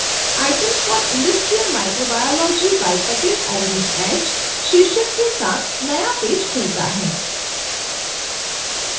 items for industrial microbiology by patel arvind h शीर्षक के साथ नया पेज खुलता है